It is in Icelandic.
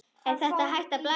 Er þér hætt að blæða?